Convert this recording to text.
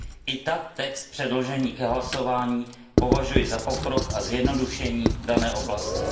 I tak text předložený k hlasování považuji za pokrok a zjednodušení v dané oblasti.